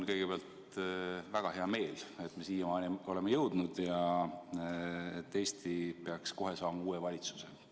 Kõigepealt, mul on väga hea meel, et me siiamaani oleme jõudnud ja et Eesti peaks kohe saama uue valitsuse.